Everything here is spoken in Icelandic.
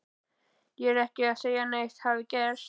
Ég er ekki að segja að neitt hafi gerst.